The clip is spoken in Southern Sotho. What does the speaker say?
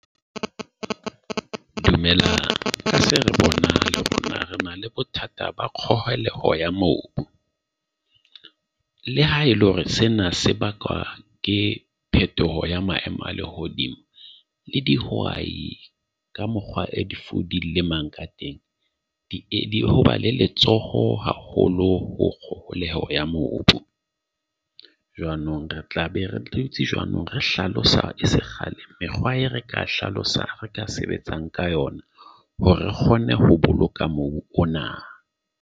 Dumellana ka se re bonang rena le bothata ba kgaohile ya mobu. Le ha e le hore sena se bakwa ke phethoho ya maemo a lehodimo le dihwai ka mokgwa o d lemang ka teng. Di hoba le letsoho haholo ho kgoneho ya mobu. Jwanong re tla be re dutse jwanong, re hlalosa se kgale mekgwa e re ka hlalosa ka sebetsang ka yona hore re kgone ho boloka mobu o na.